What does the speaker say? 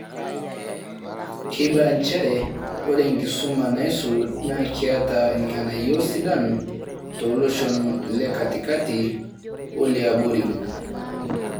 Keibala nchere ore enkisuma naisul naa keeta irng'anayio sidan tooloshon lekatikati oliabori.